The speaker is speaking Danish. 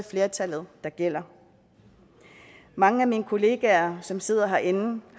flertallet der gælder mange af mine kollegaer som sidder herinde